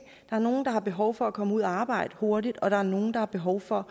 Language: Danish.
er nogle der har behov for at komme ud at arbejde hurtigt og der er nogle der har behov for